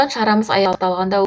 шарамыз аяқталғанда